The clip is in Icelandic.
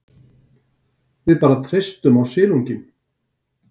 Við bara treystum á silunginn.